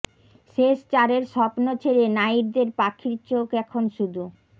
শেষ চারের স্বপ্ন ছেড়ে নাইটদের পাখির চোখ এখন শুধু